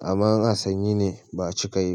Amma in ana sanyi ne ba cika yi ba.